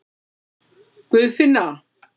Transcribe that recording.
Guðfinna